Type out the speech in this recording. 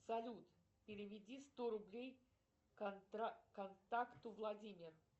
салют переведи сто рублей контакту владимир